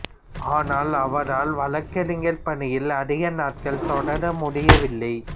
ஆனால் அவரால் வழக்கறிஞர் பணியில் அதிக நாட்கள் தொடர முடியவில்லை